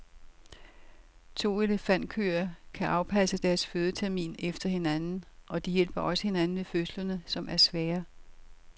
To elefantkøer kan afpasse deres fødetermin efter hinanden, og de hjælper også hinanden ved fødslerne, som er svære.